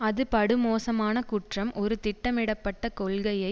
அது படுமோசமான குற்றம் ஒரு திட்டமிடப்பட்ட கொள்கையை